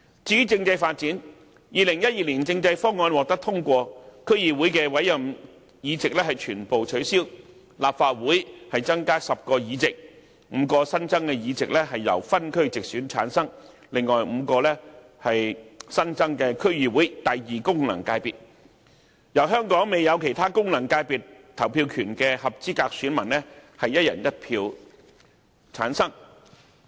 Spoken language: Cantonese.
至於政制發展 ，2012 年政改方案獲得通過，區議會的委任議席全部取消，立法會增加10個議席 ，5 個新增議席由分區直選產生，另外5個為新增的區議會功能界別，由全港未有其他功能界別投票權的合資格選民以"一人一票"產生。